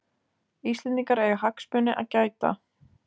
Íslendingar eiga hagsmuna að gæta